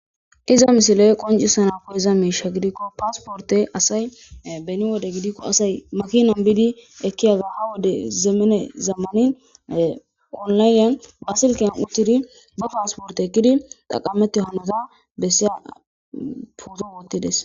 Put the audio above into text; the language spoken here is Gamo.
iza misiley qoncisa na kuhiza miisha gidikko paasporte asay beni wode gidikko asay makinan biidi ekkiyaga ha wode zeemene zammanin qonlayen waasilkeyan uchidi ba paasporte ekkidi taqameti hanata bessiya puuzo woottides